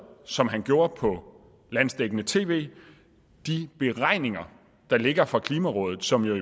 som han gjorde på landsdækkende tv de beregninger der ligger fra klimarådet som jo